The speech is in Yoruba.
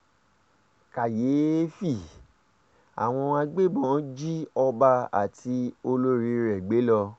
kàyééfẹ́ àwọn agbébọ̀n jí ọba àti olórí rẹ̀ gbé lọ